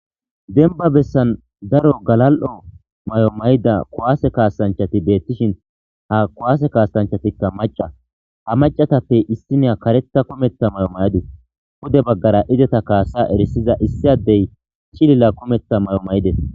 Denba bessan daro galal'o may'o may'ida kuwaase kaasanchati beettishin ha kuwaase kaasanchatikka maca ha macatappe issinia karetta kometa may'o mayides hude baggara izeta kaasa erisiza issi addey chilila kometa may'o may'ides.